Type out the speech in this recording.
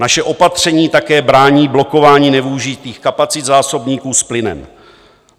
Naše opatření také brání blokování nevyužitých kapacit zásobníků s plynem.